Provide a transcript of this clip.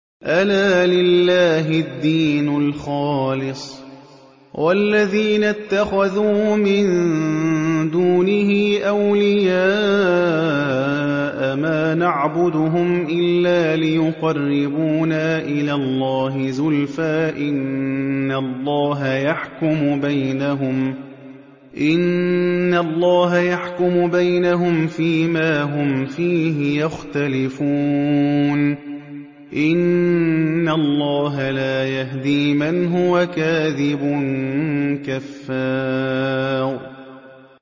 أَلَا لِلَّهِ الدِّينُ الْخَالِصُ ۚ وَالَّذِينَ اتَّخَذُوا مِن دُونِهِ أَوْلِيَاءَ مَا نَعْبُدُهُمْ إِلَّا لِيُقَرِّبُونَا إِلَى اللَّهِ زُلْفَىٰ إِنَّ اللَّهَ يَحْكُمُ بَيْنَهُمْ فِي مَا هُمْ فِيهِ يَخْتَلِفُونَ ۗ إِنَّ اللَّهَ لَا يَهْدِي مَنْ هُوَ كَاذِبٌ كَفَّارٌ